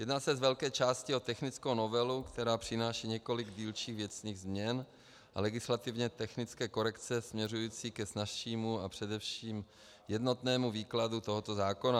Jedná se z velké části o technickou novelu, která přináší několik dílčích věcných změn a legislativně technické korekce směřující ke snazšímu a především jednotnému výkladu tohoto zákona.